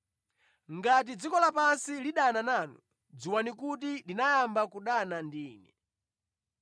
“Ngati dziko lapansi lidana nanu, dziwani kuti linayamba kudana ndi Ine.